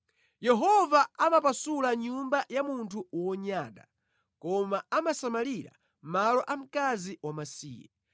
Yehova amapasula nyumba ya munthu wonyada koma amasamalira malo a mkazi wamasiye.